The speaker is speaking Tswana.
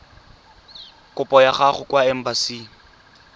kopo ya gago kwa embasing